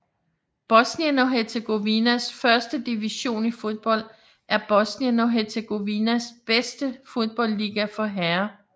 Bosnien og Hercegovinas første division i fodbold er Bosnien og Hercegovinas bedste fodboldliga for herrer